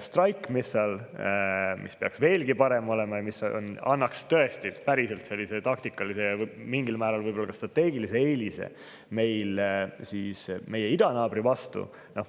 Strike, mis peaks veelgi parem olema ja mis annaks tõesti päriselt taktikalise ja mingil määral ehk ka strateegilise eelise meie idanaabri vastu.